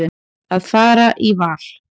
Að fara í val.